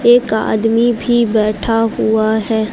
एक आदमी भी बैठा हुआ है।